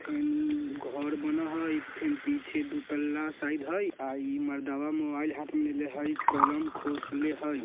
फेन घोर बनअ हई फिन पीछे दु तल्ला शायद हई आ ई मर्दावा मोबाइल हाथ में लेले हई कोलम खोसले हई।